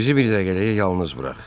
Bizi bir dəqiqəliyə yalnız burax.